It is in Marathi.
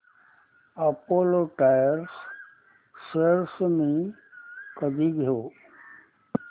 अपोलो टायर्स शेअर्स मी कधी घेऊ